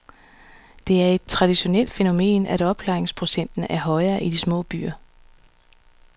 Det er et traditionelt fænomen, at opklaringsprocenter er højere i de små byer.